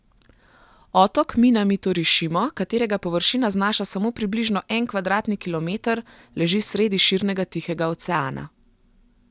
Otok Minamitorišimo, katerega površina znaša samo približno en kvadratni kilometer, leži sredi širnega Tihega oceana.